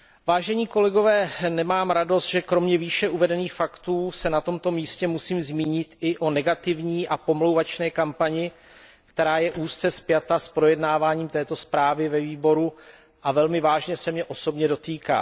Vážení kolegové, nemám radost, že kromě výše uvedených faktů se na tomto místě musím zmínit i o negativní a pomlouvačné kampani, která je úzce spjata s projednáváním této zprávy ve výboru a velmi vážně se mě osobně dotýká.